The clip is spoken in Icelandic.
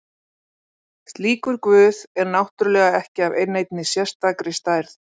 slíkur guð er náttúrulega ekki af neinni sérstakri stærð